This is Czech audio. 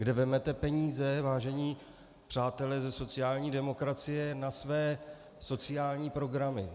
Kde vezmete peníze, vážení přátelé ze sociální demokracie, na své sociální programy?